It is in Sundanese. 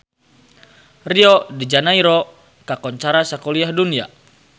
Rio de Janairo kakoncara sakuliah dunya